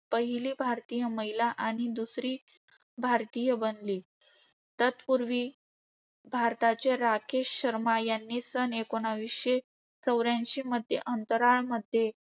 पहिली भारतीय महिला आणि दुसरी भारतीय बनली. तत्पूर्वी, भारताचे राकेश शर्मा यांनी सन एकोणीसशे चौर्याऐंशी मध्ये अंतराळ